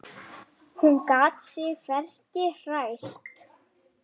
Hún gat sig hvergi hrært.